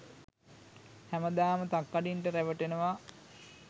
හැමදාම තක්කඩින්ට රැවටෙනව.